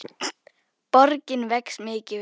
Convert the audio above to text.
Borgin vex mikið við það.